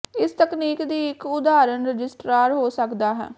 ਇਸ ਤਕਨੀਕ ਦੀ ਇੱਕ ਉਦਾਹਰਨ ਰਜਿਸਟਰਾਰ ਹੋ ਸਕਦਾ ਹੈ